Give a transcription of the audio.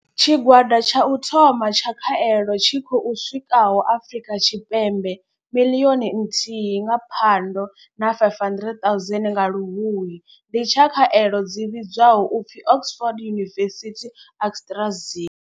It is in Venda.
Tshigwada tsha u thoma tsha khaelo tshi khou swikaho Afrika Tshipembe miḽioni nthihi nga Phando na 500 000 nga Luhuhi ndi tsha khaelo dzi vhidzwaho u pfi Oxford University-AstraZ.